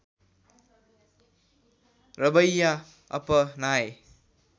रवैया अपनाए